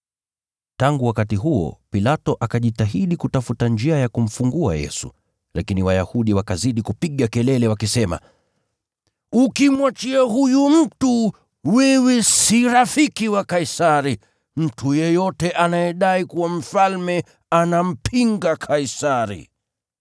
Tangu wakati huo, Pilato akajitahidi kutafuta njia ya kumfungua Yesu, lakini Wayahudi wakazidi kupiga kelele wakisema, “Ukimwachia huyu mtu, wewe si rafiki wa Kaisari. Mtu yeyote anayedai kuwa mfalme anampinga Kaisari.”